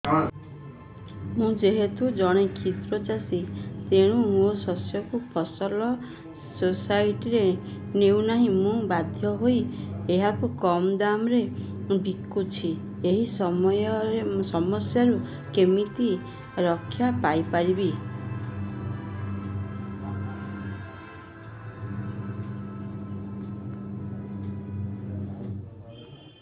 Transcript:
ମୁଁ ଯେହେତୁ ଜଣେ କ୍ଷୁଦ୍ର ଚାଷୀ ତେଣୁ ମୋ ଶସ୍ୟକୁ ଫସଲ ସୋସାଇଟି ନେଉ ନାହିଁ ମୁ ବାଧ୍ୟ ହୋଇ ଏହାକୁ କମ୍ ଦାମ୍ ରେ ବିକୁଛି ଏହି ସମସ୍ୟାରୁ କେମିତି ରକ୍ଷାପାଇ ପାରିବି